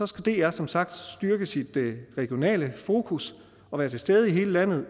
skal dr som sagt styrke sit regionale fokus og være til stede i hele landet og